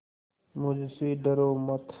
मुझसे डरो मत